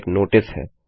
यह एक नोटिस है